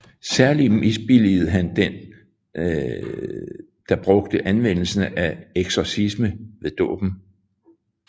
Særlig misbilligede han den da brugte anvendelse af eksorcismen ved dåben